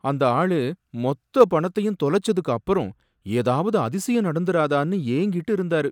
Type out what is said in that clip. அந்த ஆளு மொத்த பணத்தையும் தொலைச்சதுக்கு அப்பறம் ஏதாவது அதிசயம் நடந்துராதான்னு ஏங்கிட்டு இருந்தாரு